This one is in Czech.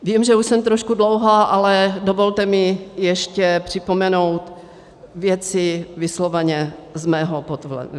Vím, že už jsem trošku dlouhá, ale dovolte mi ještě připomenout věci vysloveně z mého pohledu.